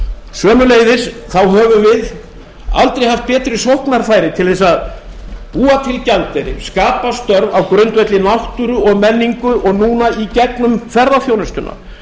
sömuleiðis þá höfum við aldrei haft betri sóknarfæri til þess að búa til gjaldeyri skapa störf á grundvelli náttúru og menningu og núna í gegnum ferðaþjónustuna